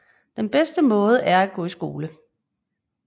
Den bedste måde er at gå i skole